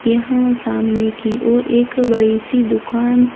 यहाँ सामने की ओर एक बड़ी-सी दुकान--